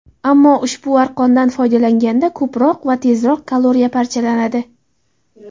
Ammo ushbu arqondan foydalanganda ko‘proq va tezroq kaloriya parchalanadi.